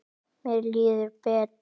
Mér líður betur.